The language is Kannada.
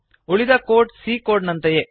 ಉಳಿದ ಕೋಡ್ c ಕೋಡ್ ನಂತೆಯೇ